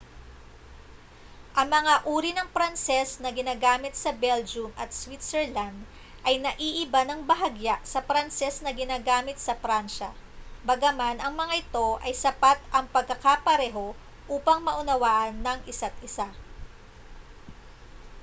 ang mga uri ng pranses na ginagamit sa belgium at switzerland ay naiiba nang bahagya sa pranses na ginagamit sa pransya bagaman ang mga ito ay sapat ang pagkakapareho upang maunawaan ng isa't isa